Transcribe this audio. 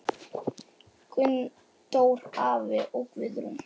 Gunndór afi og Guðrún.